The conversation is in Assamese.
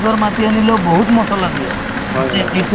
স্বাস্থ্যৰ বিষয়ে বহুত কথা জনা হয়